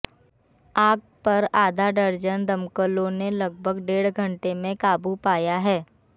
आग पर आधा दर्जन दमकलों ने लगभग ड़ेढ घंटे में काबू पाया है